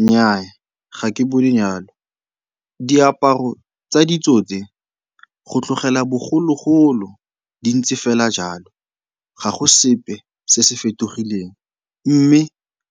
Nnyaa, ga ke bone jalo. Diaparo tsa ditso tse, go tlogela bogologolo di ntse fela jalo, ga go sepe se se fetogileng mme